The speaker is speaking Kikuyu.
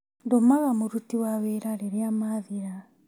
Ndũmaga mũruti wa wĩra rĩrĩa mathira